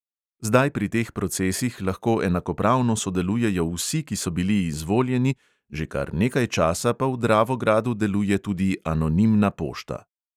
Zdaj pri teh procesih lahko enakopravno sodelujejo vsi, ki so bili izvoljeni, že kar nekaj časa pa v dravogradu deluje tudi anonimna pošta.